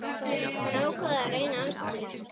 Hann ákvað að reyna aftur.